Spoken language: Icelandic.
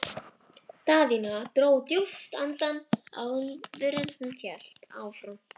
Daðína dró djúpt andann áður en hún hélt áfram.